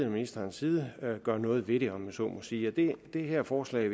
og ministerens side gør noget ved det om jeg så må sige det her forslag